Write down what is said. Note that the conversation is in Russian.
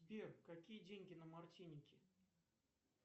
сбер какие деньги на мартинике